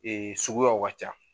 Ee suguyaw ka ca